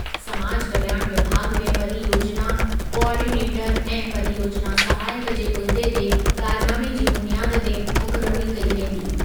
समाज कल्याण विभाॻ में परियोजिना कोआर्डीनेटरु ऐं परियोजिना सहायकु जे उहिदे ते क़रारनामे जी बुनियाद ते मुक़ररी कई वेंदी।